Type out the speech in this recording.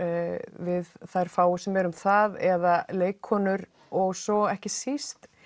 við þær fáu sem erum þar eða leikkonur og svo ekki síst